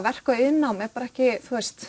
verk og iðnnám ekki